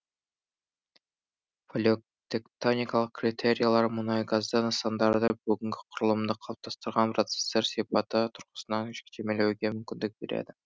палеотектоникалық критерийлер мұнайгазды нысандарды бүгінгі құрылымды қалыптастырған процестер сипаты тұрғысынан жіктемелеуге мүмкіндік береді